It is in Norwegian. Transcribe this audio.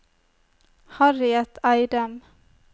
Harriet Eidem